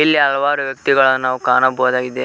ಇಲ್ಲಿ ಹಲವಾರು ವ್ಯಕ್ತಿಗಳನ್ನು ನಾವು ಕಾಣಬಹುದಾಗಿದೆ.